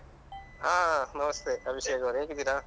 ಹಾ ನಮಸ್ತೆ ಅಭಿಷೇಕ್ ಅವ್ರೆ ಹೇಗಿದ್ದೀರಾ?